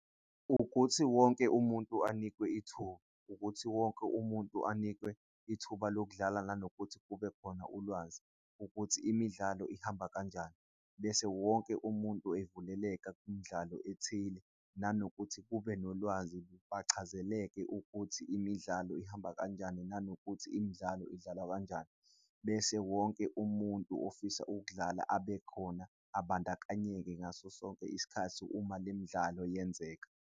Ukuthi wonke umuntu anikwe ithuba, ukuthi wonke umuntu anikwe ithuba lokudlala nanokuthi kubekhona ulwazi ukuthi imidlalo ihamba kanjani, bese wonke umuntu evuleleka kwimidlalo ethile, nanokuthi kube so nolwazi bachazeleke ukuthi imidlalo ihamba kanjani, nanokuthi imidlalo idlalwa kanjani. Bese wonke umuntu ofisa ukudlala abekhona abandakanyeke ngaso sonke isikhathi uma le midlalo yenzeka.